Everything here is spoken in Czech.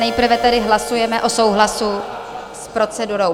Nejprve tedy hlasujeme o souhlasu s procedurou.